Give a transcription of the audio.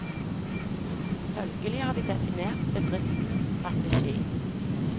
Følgelig har vi definert bedriftenes strategi.